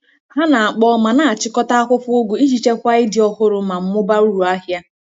Ha na-akpọọ ma na-achịkọta akwụkwọ ugu iji chekwaa ịdị ọhụrụ ma mụbaa uru ahịa.